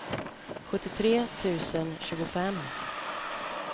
sjuttiotre tusen tjugofem